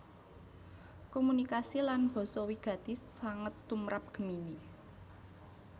Komunikasi lan basa wigati sanget tumrap Gemini